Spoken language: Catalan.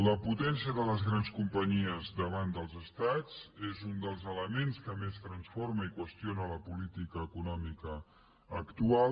la potència de les grans companyies davant dels estats és un dels elements que més transforma i qüestiona la política econòmica actual